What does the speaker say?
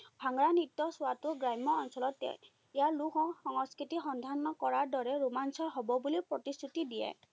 ভাংৰা নৃত্য চোৱাটো গ্ৰাম্য অঞ্চলতে ইয়াৰ লোক সংস্কৃতি সন্ধান কৰাৰ দৰে ৰোমাঞ্চকৰ হব বুলি প্ৰতিশ্ৰুতি দিয়ে।